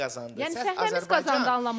Səs Azərbaycan qazandı anlamında deyirəm.